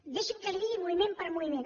deixi’m que li ho digui moviment per moviment